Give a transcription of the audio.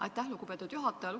Aitäh, lugupeetud juhataja!